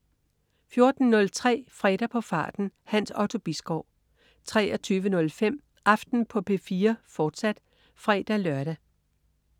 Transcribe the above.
14.03 Fredag på farten. Hans Otto Bisgaard 23.05 Aften på P4, fortsat (fre-lør)